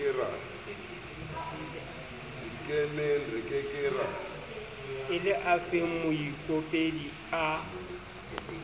e le afeng moikopedi a